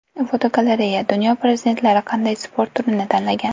Fotogalereya: Dunyo prezidentlari qanday sport turini tanlagan.